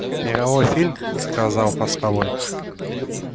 мировой фильм сказал постовой